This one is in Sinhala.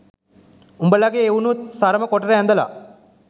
උඹලගේ එවුනුත් සරම කොටට ඇදලා